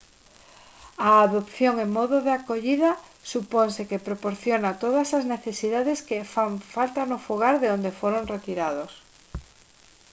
a adopción en modo de acollida suponse que proporciona todas as necesidades que faltan no fogar de onde foron retirados